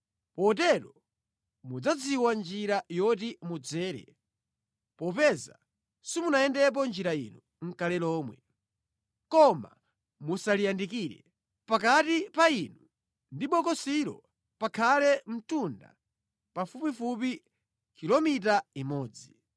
Potero mudzadziwa njira yoti mudzere, popeza simunayendepo njira ino nʼkale lomwe. Koma musaliyandikire. Pakati pa inu ndi bokosilo pakhale mtunda pafupifupi kilomita imodzi.”